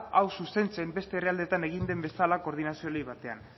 hau zuzentzen beste herrialdeetan egin den bezala koordinazio batean